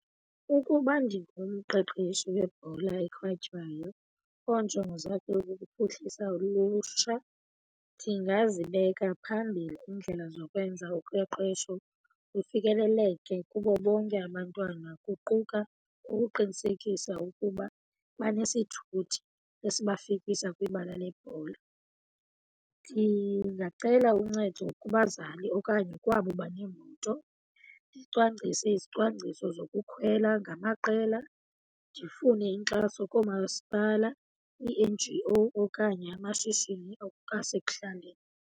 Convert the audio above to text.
Ukuba ndingu ngumqeqeshi webhola ekhatywayo oonjongo zakhe ikukuphuhlisa ulutsha, ndingazibeka phambili iindlela zokwenza uqeqesho lufikeleleke kubo bonke abantwana, kuquka ukuqinisekisa ukuba banesithuthi esibafikisa kwibala lebhola. Ndingacela uncedo kubazali okanye kwabo baneemoto, ndicwangcise izicwangciso zokukhwela ngamaqela. Ndifune inkxaso koomasipala, ii-N_G_O okanye amashishini asekuhlaleni.